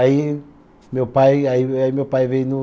Aí meu pai, aí me meu pai veio no